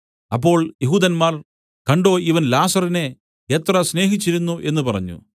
അപ്പോൾ യെഹൂദന്മാർ കണ്ടോ ഇവൻ ലാസറിനെ എത്ര സ്നേഹിച്ചിരുന്നു എന്നു പറഞ്ഞു